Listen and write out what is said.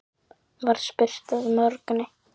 var spurt að morgni.